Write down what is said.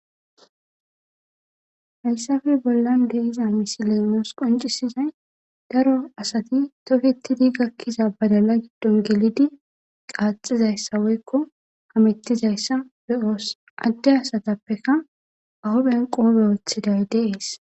Hayisape bollan diza misilan nus qonicizays daro toketidi gakida badala gidoni gelidi qaxizayisa woyiko hametizayisa be'os ade asatapeka ba huphiyan qophe woxidays dees